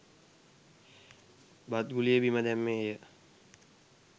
බත් ගුලිය බිම දැම්මේය